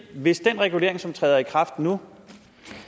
hvis den regulering som træder i kraft nu